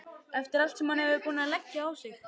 Eftir allt sem hann var búinn að leggja á sig!